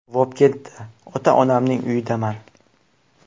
Vobkentda, ota-onamning uyidaman.